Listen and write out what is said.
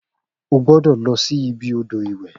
O gbọ́dọ̀ lọ sí ibi odò ìwẹ̀